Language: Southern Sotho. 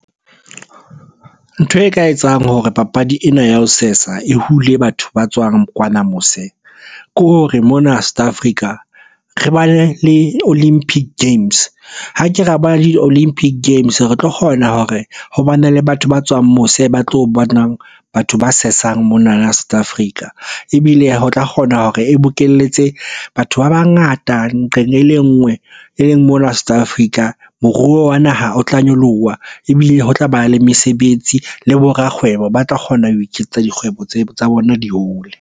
Ntho e ka etsang hore papadi ena ya ho sesa e hule batho ba tswang kwana mose. Ke hore mona South Africa re bane le olympic games, ha ke ra ba le di-olympic games re tlo kgona hore ho ba ne le batho ba tswang mose ba tlo bonang batho ba sesang monana South Africa. Ebile ho tla kgona hore e bokelletse batho ba bangata nqeng e le nngwe e leng mona South Africa. Moruo wa naha o tla nyoloha, ebile ho tlaba le mesebetsi. Le bo rakgwebo ba tla kgona ho iketsetsa dikgwebo tsa bona di hole.